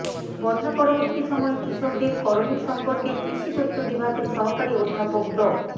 বন্যা পরবর্তী সময়ে কৃষকদের করণীয় সম্পর্কে কৃষিতত্ত্ব বিভাগের সহকারী অধ্যাপক ড